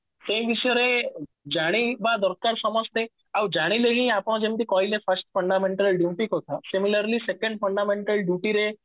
ସେଇ ବିଷୟରେ ଜଣେଇବା ଦରକାର ସମସ୍ତେ ଆଉ ଜାଣିଲେ ହିଁ ଆପଣ ଯେମତି କହିଲେ first fundamental duty କଥା similarly second fundamental duty ରେ